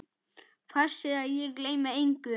Passir að ég gleymi engu.